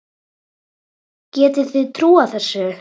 Getið þið trúað þessu?